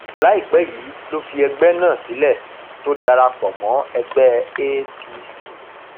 láìpẹ yìí ló fi ẹgbẹ náà sílẹ tó darapọ mọ ẹgbẹ apc